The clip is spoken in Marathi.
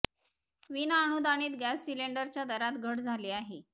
विना अनुदानित गॅस सिलिंडरच्या दरात घट झाली आहे